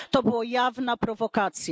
To była jawna prowokacja.